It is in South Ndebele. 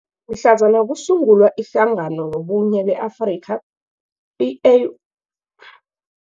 Mhlazana kusungulwa iHlangano yoBunye be-Afrika, i-A